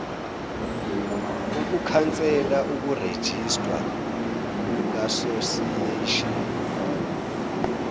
ukukhansela ukurejistwa kukasosiyeshini